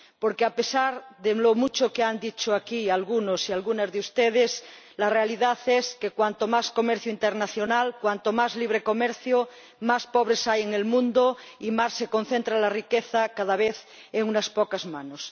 Porque, a pesar de lo mucho que han dicho aquí algunos y algunas de ustedes, la realidad es que, cuanto más comercio internacional, cuanto más libre comercio, más pobres hay en el mundo y más se concentra la riqueza cada vez en unas pocas manos.